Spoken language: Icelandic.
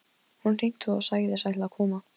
Hún hringdi og sagðist ætla að koma.